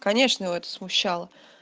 конечно его это смущало